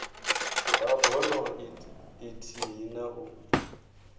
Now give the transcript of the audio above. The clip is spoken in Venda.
ha bono ithihi na u